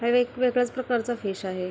ह्याव एक वेगळ्याच प्रकारचा फिश आहे.